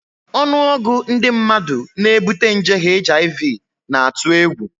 Ọnụọgụ ndị mmadụ na-ebute nje HIV na-atụ egwu